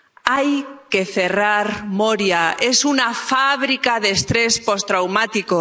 Hay que cerrar Moria es una fábrica de estrés postraumático.